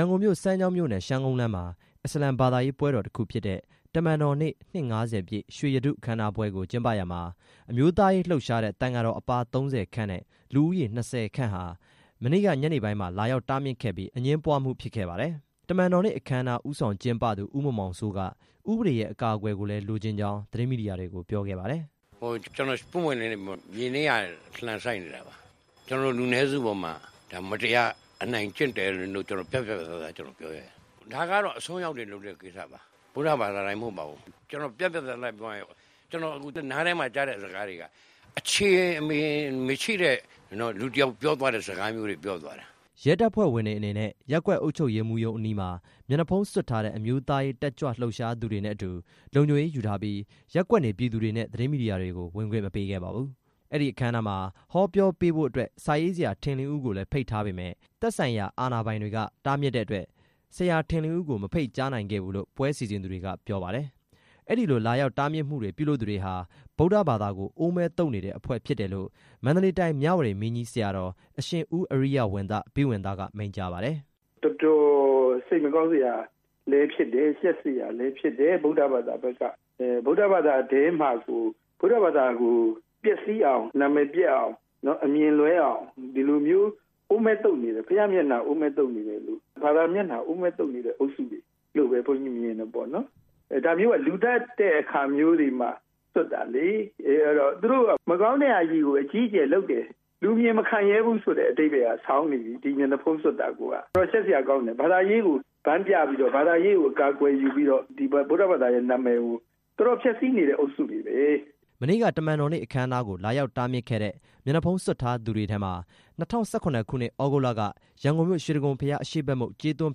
န်ကုန်မြို့ စမ်းချောင်းမြို့နယ် ရှမ်းကုန်းလမ်းမှာ အစ္စလာမ် ဘာသာရေး ပွဲတော်တစ်ခုဖြစ်တဲ့ တမန်တော်နေ့ နှစ် ၅၀ ပြည့် ရွှေရတုအခမ်းအနားပွဲကို ကျင်းပရာမှာ အမျိုးသားရေးလှုပ်ရှားတဲ့ သံဃာတော်အပါး ၃၀ ခန့်နဲ့ လူဦးရေ ၂၀ ခန့်ဟာ မနေ့ ညနေပိုင်းမှာ လာရောက်တားမြစ်ခဲ့ပြီး အငြင်းပွားမှု ဖြစ်ခဲ့ပါတယ်။ တမန်တော်နေ့ အခမ်းအနား ဦးဆောင် ကျင်းပသူ ဦးမောင်မောင်စိုးက ဥပဒေရဲ့ အကာအကွယ်ကိုလည်း လိုချင်ကြောင်း သတင်းမီဒီယာတွေကို ပြောခဲ့ပါတယ်။ "ကျနော် ပွင့်ပွင့်လင်းလင်းပြောမယ်၊ ကျနော်တို့ မြေနိမ့်ရာ လှံစိုက်နေတာ ကျနော်တို့ လူနည်းစုပေါ်မှာ ဒါမတရား အနိုင်ကျင့်တယ်လို့ ပြတ်ပြတ်သားသား ကျနော်ပြောရဲတယ်၊ ဒါကတော့ အစွန်းရောက်တွေလုပ်တဲ့ကိစ္စပါ ဗုဒ္ဓဘာသာတိုင်းမဟုတ်ပါဘူး၊ ကျနော့်နားထဲမှာ ကြားတဲ့စကားတွေက အခြေအမြစ်မရှိတဲ့ လူတစ်ယောက် ပြောသွားတဲ့စကားမျိုးတွေ ပြောသွားတယ်၊ ရဲတပ်ဖွဲ့ဝင်တွေအနေနဲ့ ရပ်ကွက်အုပ်ချုပ်ရေးမှူးရုံးအနီးမှာ မျက်နှာဖုံးစွပ်ထားတဲ့ အမျိုးသားရေးတက်ကြွလှုပ်သူတွေနဲ့အတူ လုံခြုံရေးယူထားပြီး ရပ်ကွက်နေပြည်သူတွေနဲ့ သတင်းမီဒီယာတွေကို ဝင်ခွင့်မပေးခဲ့ပါဘူး။အဲဒီအခမ်းအနားမှာ ဟောပြောပေးဖို့အတွက် စာရေးဆရာ ထင်လင်းဦးကိုလည်း ဖိတ်ထားပေမယ့် သက်ဆိုင်ရာ အာဏာပိုင်တွေက တားမြစ်တဲ့အတွက် ဆရာထင်လင်းဦး ကို မဖိတ်ကြားနိုင်ခဲ့ဘူးလို့ ပွဲစီစဉ်သူတွေက ပြောပါတယ်။" အဲဒီလိုလာရောက်တားမြစ်မှုတွေ ပြုလုပ်သူတွေဟာ ဗုဒ္ဓဘာသာကို အိုးမဲသုတ်နေတဲ့အဖွဲ့ဖြစ်တယ်လို့ မန္တလေးတိုင်း မြဝတီ မင်းကြီးဆရာတော် အရှင်ဦးအရိယဝံသဘိဝံသ က မိန့်ကြားပါတယ်။ "တော်တော်စိတ်မကောင်းစရာလည်းဖြစ်တယ်၊ ရှက်စရာလည်းဖြစ်တယ်၊ ဗုဒ္ဓဘာသာထဲမှာကို ဗုဒ္ဓဘာသာကို ပျက်စီးအောင် နာမည်ပျက်အောင် အမြင်လွဲအောင် ဒီလိုမျိုးအိုးမဲသုတ်နေတယ်၊ ဘုရားမျက်နှာ အိုးမဲသုတ်နေ တယ်လို့ ဘာသာမျက်နှာကို အိုးမဲသုတ်နေတဲ့ အုပ်စုတွေလို့ ဘုန်းကြီးမြင်တယ်ပေါ့နော်၊ ဒါမျိုးက လူသတ်တဲ့ အခါမျိုးတွေမှာ စွပ်တာလေ၊ အဲဒါ သူတို့က မကောင်းတဲ့ဟာကြီးကို အကြီးအကျယ်လုပ်တယ်၊ လူမြင်မခံရဲဘူး ဆိုတဲ့ အဓိပ္ပါယ်ဆောင်နေပြီ၊ ဒီမျက်နှာ ဖုံးစွပ်တာကိုက ရှက်စရာကောင်းတယ် ဘာသာရေးကို ဗန်းပြပြီးတော့ ဘာသာရေးကို အကာအကွယ်ယူပြီးတော့ ဗုဒ္ဓဘာသာရဲ့ နာမည်ကို တော်တော်ဖျက်ဆီးနေတဲ့ အုပ်စုတွေပဲ" မနေ့က တမန်တော်နေ့ အခမ်းအနားကို လာရောက်တားမြစ်ခဲ့တဲ့ မျက်နှာဖုံးစွပ်ထားသူတွေထဲမှာ ၂၀၁၇ ခုနှစ် သြဂုတ်လက ရန်ကုန်မြို့ရွှေတိဂုံဘုရားအရှေ့ဘက်မုခ် ကြေးသွန်း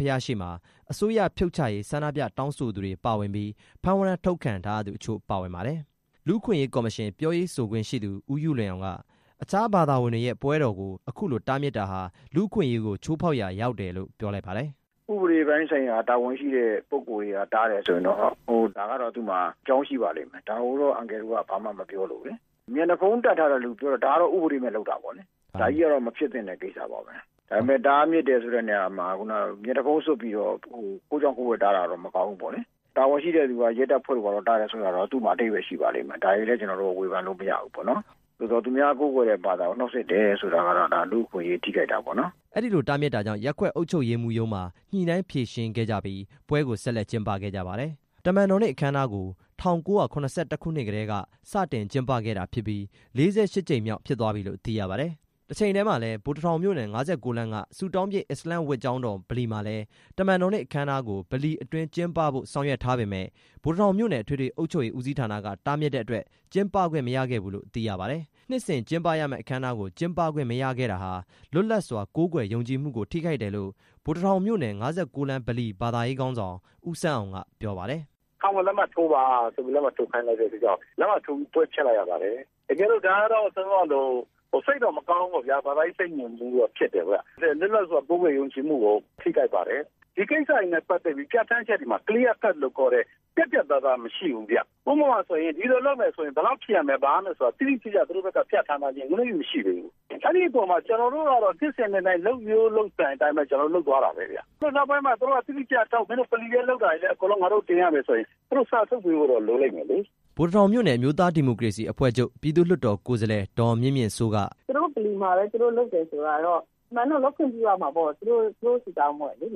ဘုရားရှေ့မှာ အစိုးရဖြုတ်ချရေး ဆန္ဒပြတောင်းဆိုသူတွေပါဝင်ပြီး ဖမ်းဝရမ်းထုတ်ခံထားရသူ အချို့ပါဝင်ပါတယ်။ လူ့အခွင့်အရေး ကော်မရှင် ပြောရေးဆိုခွင့်ရှိသူ ဦးယုလွင်အောင်က အခြားဘာသာဝင်တွေရဲ့ ပွဲတော်ကို အခုလိုတားမြစ်တာဟာ လူ့အခွင့်အရေးကို ချိုးဖောက်ရာရောက်တယ်လို့ ပြောလိုက်ပါတယ်။ "ဥပဒေပိုင်းဆိုင်ရာ တာဝန်ရှိတဲ့ပုဂ္ဂိုလ်တွေက တားတယ်ဆိုရင်တော့ ဒါကတော့ သူ့မှာ အကြောင်းရှိပါလိမ့်မယ်၊ ဒါကိုတော့ အန်ကယ်တို့က ဘာမှမပြောလိုဘူးလေ၊ မျက်နှာဖုံးတပ်ထားတဲ့သူပြောတာ ဒါကတော့ ဥပဒေမဲ့ လုပ်တာပေါ့လေ၊ ဒါကတော့ မဖြစ်သင့်တဲ့ကိစ္စပါပဲ၊ ဒါပေမဲ့ တားမြစ်တယ်ဆိုတဲ့နေရာမှာ မျက်နှာဖုံးစွပ်ပြီးတော့ ခိုးကြောင် ခိုးဝှက်တားတာက မကောင်းဘူးပေါ့လေ၊ တာဝန်ရှိတဲ့သူ ရဲတပ်ဖွဲ့တို့က တားတာကတော့ သူ့မှာ အဓိပ္ပါယ်ရှိပါလိမ့်မယ်၊ ဒါတွေကိုတော့ ဝေဖန်လို့မရဘူးပေါ့နော်၊ သူများကိုးကွယ်တဲ့ဘာသာကို နှောင့်ယှက်တယ် ဆိုတာကတော့ လူ့အခွင့်အရေး ထိခိုက်တာပေါ့နော်၊" အဲဒီလိုတားမြစ်တာကြောင့် ရက်ကွက်အုပ်ချုပ်ရေးမှူးရုံးမှာ ညှိနှိုင်းဖြေရှင်းခဲ့ကြပြီး ပွဲကို ဆက်လက်ကျင်းပ ခဲ့ကြပါတယ်။ တမန်တော်နေ့ အခမ်းအနားကို ၁၉၇၁ ခုနှစ်ကတည်းက စတင်ကျင်းပခဲ့တာဖြစ်ပြီး ၄၈ ကြိမ်မြောက်ဖြစ်သွားပြီလို့ သိရပါတယ်။ တချိန်တည်းမှာလည်း ဗိုလ်တထောင်မြို့နယ် ၅၉ လမ်းက ဆုတောင်းပြည့် အစ္စလာမ့်ဝတ်ကျောင်းတော် ဗလီမှာလည်း တမန်တော်နေ့ အခမ်းအနားကို ဗလီအတွင်းကျင်းပဖို့ ဆောင်ရွက်ထားပေမယ့် ဗိုလ်တထောင်မြို့နယ် အထွေထွေအုပ်ချုပ်ရေးဦးစီးဌာနက တားမြစ်တဲ့အတွက် ကျင်းပခွင့်မရခဲ့ဘူးလို့ သိရပါတယ်။ နှစ်စဉ်ကျင်းရမယ့် အခမ်းအနားကို ကျင်းပခွင့်မရခဲ့တာဟာ လွတ်လပ်စွာကိုးကွယ်ယုံကြည်မှုကို ထိခိုက်တယ်လို့ ဗိုလ်တထောင်မြို့နယ် ၅၉ လမ်း ဗလီ ဘာသာရေးခေါင်းဆောင် ဦးဆန်းအောင် က ပြောပါတယ်။ "ခံဝန်လက်မှတ်ထိုးပါဆိုပြီး လက်မှတ်ထိုးခိုင်းလိုက်တဲ့အတွက်ကြောင့် လက်မှတ်ထိုးပြီး ပွဲဖျက်လိုက်ရပါတယ်၊ တကယ်တော့ စိတ်တော့မကောင်းဘူးပေါ့ဗျာ၊ ဘာသာရေးပိတ်ပင်မှုတော့ ဖြစ်တယ်ဗျ၊ လွတ်လပ်စွာ ကိုးကွယ် ယုံကြည်မှုကို ထိခိုက်ပါတယ်၊ ဒီကိစ္စတွေနဲ့ ပတ်သက်ပြီး ပြဋ္ဌာန်းချက်တွေမှာ ရှင်းရှင်းလင်းလင်း ပြတ်ပြတ် သားသားမရှိဘူးဗျ၊ ဥပမာဆိုရင် ဒီလိုလုပ်မယ်ဆိုရင် ဘယ်လောက်ဖြစ်ရမယ်၊ ဘာရမယ်ဆိုတာ တိတိကျကျ ပြဌာန်းထားခြင်း မရှိသေးဘူးဗျ၊ အဲအပေါ်မှာ ကျနော်တို့ကတော့ နှစ်စဉ် နှစ်တိုင်း လုပ်ရိုးလုပ်စဉ်အတိုင်းပဲ လုပ်သွားတာပဲ၊ နောက်ပိုင်းမှာ တိတိကျကျလုပ် မင်းတို့ ဗလီထဲလုပ်တာလည်း တင်ရမယ်ဆိုရင် သူတို့စာ ထုတ်ပေးဖို့တော့ လိုလိမ့်မယ်လေ" ဗိုလ်တထောင်မြို့နယ် အမျိုးသားဒီမိုကရေစီအဖွဲ့ချုပ် ပြည်သူ့လွှတ်တော် ကိုယ်စားလှယ် ဒေါ်မြင့်မြင်စိုးက "သူတို့ဗလီမှာပဲ သူတို့လုပ်တယ်ဆိုတာတော့ အမှန်တကယ်လုပ်ခွင့်ပြုရမှာပေါ့၊ သူတို့ဆုတောင်းပွဲလေ သူ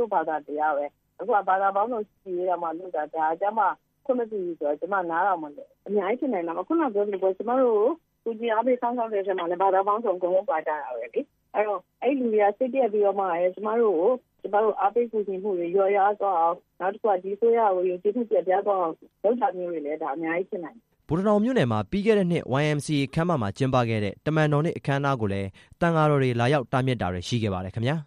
တို့ဘာသာ တရားပဲ၊ အခုဘာသာပေါင်းစုံ ချစ်ကြည်ရေးတောင်မှလုပ်တာ၊ ဒါကျမှ ခွင့်မပြုဘူးဆိုတော့ ကျမ နားတောင်မလည်ဘူး အများကြီးဖြစ်နိုင်တာပေါ့၊ အခုနကပြောသလိုပေါ့၊ ကျမတို့ ကူညီအားပေးစောင့်ရှောက်တဲ့ ဘာသာပေါင်းစုံပါကြတာပဲ၊ အဲတော့ အဲလူတွေက စိတ်ပျက်ပြီးတော့မှ ကျမတို့ကို အားပေးကူမှုတွေ လျော့သွားအောင် နောက်တစ်ခုက ဒီအစိုးရကို ယုံကြည်မှုပျက်ပြားသွားအောင် လုပ်တာမျိုးတွေလည်း ဒါအများကြီးဖြစ်နိုင်တယ်" ဗိုလ်တထောင်မြို့နယ်မှာ ပြီးခဲ့တဲ့နှစ် YMCA ခန်းမမှာ ကျင်းပခဲ့တဲ့ တမန်တော်အနေ့ အခမ်းအနားကိုလည်း သံဃာတော်တွေ လာရောက်တားမြစ်တာတွေ ရှိခဲ့ပါတယ် ခင်ဗျာ။